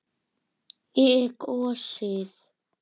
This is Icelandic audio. Ég er gosið.